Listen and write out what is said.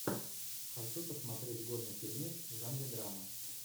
хочу посмотреть годный фильмец в жанре драма